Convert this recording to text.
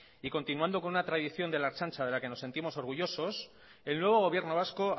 y continuando con una tradición de la ertzaintza de la que nos sentimos orgullosos el nuevo gobierno vasco